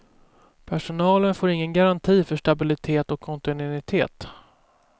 Personalen får ingen garanti för stabilitet och kontinuitet.